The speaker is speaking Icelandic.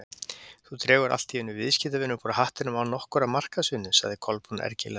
Þú dregur allt í einu viðskiptavin upp úr hattinum án nokkurrar markaðsvinnu- sagði Kolbrún ergilega.